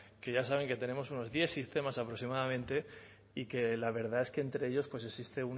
que ya saben que tenemos unos diez sistemas aproximadamente y que la verdad es que entre ellos existe